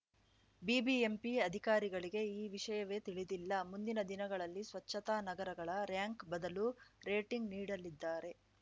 BBMP ಅಧಿಕಾರಿಗಳಿಗೆ ಈ ವಿಷಯವೇ ತಿಳಿದಿಲ್ಲ ಮುಂದಿನ ದಿನಗಳಲ್ಲಿ ಸ್ವಚ್ಛತಾ ನಗರಗಳ ರಾರ‍ಯಂಕ್‌ ಬದಲು ರೇಟಿಂಗ್‌ ನೀಡಲಿದ್ದಾರೆ